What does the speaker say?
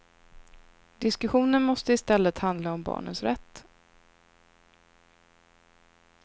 Diskussionen måste i stället handla om barnens rätt.